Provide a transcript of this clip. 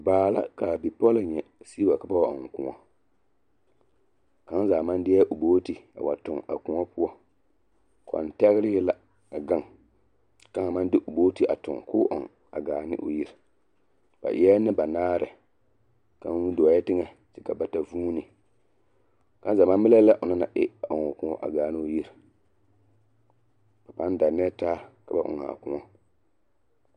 Baa la ka a bipɔlɔ nyɛ sigi wa ka ba wa ɔŋ kõɔ kaŋa zaa maŋ deɛ o booti a wa toŋ a kõɔ poɔ, kɔtɛgelee la a gaŋ, k'a kaŋ haa maŋ de o booti a toŋ k'o ɔŋ a gaane o yiri ba eɛ nembanaare kaŋ dɔɔɛ teŋɛ kyɛ ka bata vūūni, kaŋa zaa maŋ melɛ la lɛ onaŋ na e ɔŋ o kõɔ a gaane o yiri, ba pãã dannɛɛ taa ka ba ɔŋ a kõɔ.